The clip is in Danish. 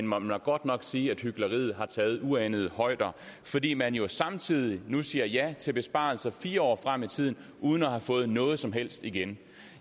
må da godt nok sige at hykleriet har taget uanede højder fordi man jo samtidig nu siger ja til besparelser fire år frem i tiden uden at have fået noget som helst igen